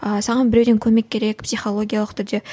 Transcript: ы саған біреуден көмек керек психологиялық түрде